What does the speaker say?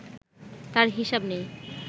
তার হিসাব নেই